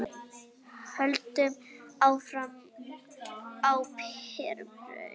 Höldum áfram á þeirri braut.